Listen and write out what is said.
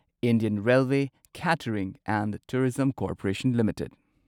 Indian railway catering and tourism corporation limited